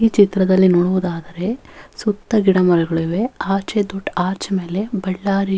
ಈ ಚಿತ್ರದಲ್ಲಿ ನೋಡುವುದಾದರೆ ಸುತ್ತ ಗಿಡಮರಗಳಿವೆ ಆಚೆ ದೊಡ್ಡ ಆಚೆ ಮೇಲೆ ಬಳ್ಳಾರಿಯು --